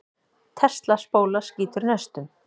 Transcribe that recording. Tesla-spóla skýtur neistum.